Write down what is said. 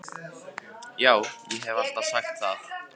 Já, ég haf alltaf sagt það.